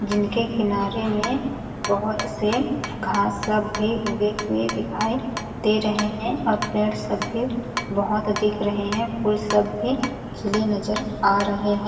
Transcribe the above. जिनके किनारे में बहोत से घास सब भी उगे हुए दिखाई दे रहे है और पेड़ सब भी बहोत दिख रहे है फूल सब भी खिले नज़र आ रहे है।